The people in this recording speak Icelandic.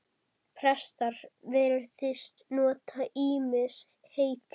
Prestar virðast nota ýmis heiti.